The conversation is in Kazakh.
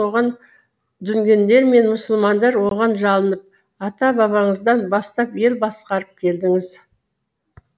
дүнгендер мен мұсылмандар оған жалынып ата бабаңыздан бастап ел басқарып келдіңіз